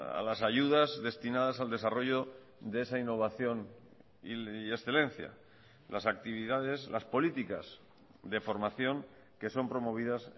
a las ayudas destinadas al desarrollo de esa innovación y excelencia las actividades las políticas de formación que son promovidas